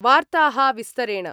वार्ताः विस्तरेण